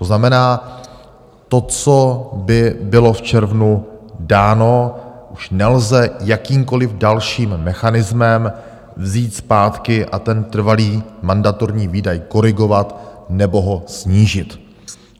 To znamená, to, co by bylo v červnu dáno, už nelze jakýmkoliv dalším mechanismem vzít zpátky a ten trvalý mandatorní výdaj korigovat nebo ho snížit.